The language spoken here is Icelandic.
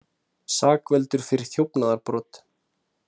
Sakfelldur fyrir þjófnaðarbrot